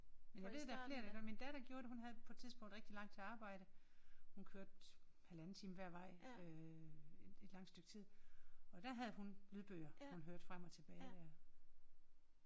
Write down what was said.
Men det er der flere der gør. Men datter gjorde det hun havde på et tidspunkt rigtig langt til arbejde hun kørte halvanden time hver vej øh et et langt stykke tid og der havde hun lydbøger hun høre frem og tilbage